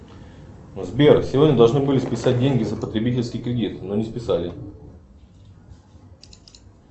сбер сегодня должны были списать деньги за потребительский кредит но не списали